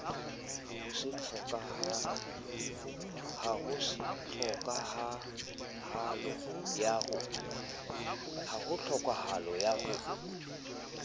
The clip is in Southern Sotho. ho se tlhokahalo ya ho